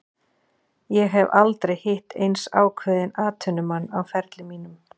Ég hef aldrei hitt eins ákveðinn atvinnumann á ferli mínum.